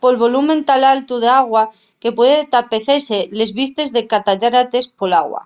pol volumen tan altu d'agua que pueden tapecese les vistes de les catarates ¡pol agua!